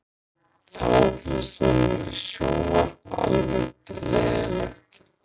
Þá finnst honum sjónvarp almennt leiðinlegt